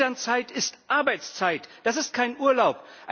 Elternzeit ist Arbeitszeit, das ist kein Urlaub.